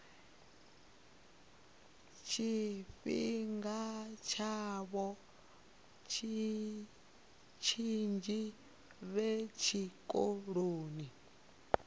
tshifhinga tshavho tshinzhi vhe tshikoloni